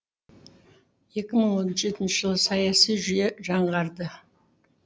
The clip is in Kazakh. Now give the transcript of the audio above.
екі мың он жетінші жылы саяси жүйе жаңғарды